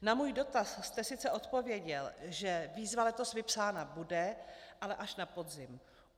Na můj dotaz jste sice odpověděl, že výzva letos vypsána bude, ale až na podzim.